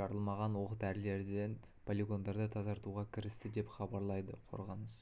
жарылмаған оқ-дәрілерден полигондарды тазартуға кірісті деп хабарлады қорғаныс